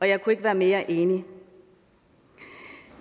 jeg kunne ikke være mere enig